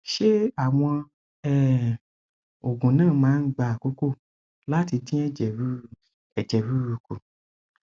ṣé àwọn um oògùn náà máa ń gba àkókò láti dín ẹjẹ ruru ẹjẹ ruru kù